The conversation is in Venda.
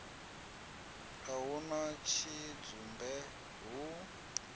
a hu na tshidzumbe hu